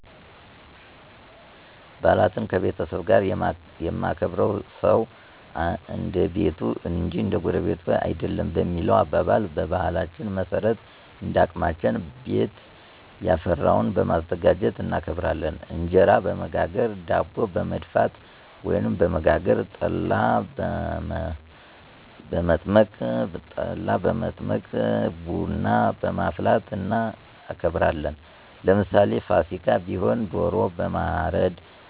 ባዓላትን ከቤተሰብ ጋር የማከብርዉ ሰዉ እንደቤቱ እንጅ እንደጎረቤቱ አይደለም በሚለዉ አባባል፣ በባህላችን መሠረት እንደአቅማችን ቤትያፈራዉን በማዘጋጁት እናከብራለን። እንጀራበመጋገር፣ ዳቦበመድፍት፣ ወይም በመጋገር፣ ጠላበመዘ ጠላበመበጥበጥ፣ ቡናበማፍላትእናከብራለን። ለምሳሌ ፍሲካ ቢሆን ደሮ በማረድ፣